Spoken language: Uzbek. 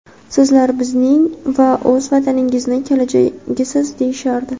"Sizlar bizning va o‘z vataningizni kelajagisiz", -deyishardi".